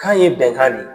Kan ye bɛnkan de